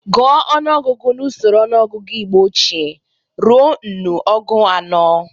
Guọ ọnụogụgu n'usoro ọnụọgụgụ Igbo ochie rue nnụ ọgu ise.